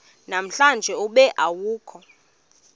namhlanje ube awukho